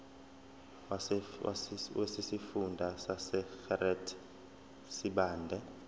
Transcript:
wesifunda sasegert sibande